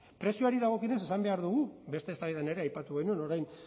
prezioari dagokionez esan behar dugu beste eztabaidan ere aipatu genuen orain